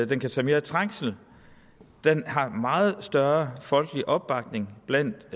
den kan tage mere trængsel den har meget større folkelig opbakning blandt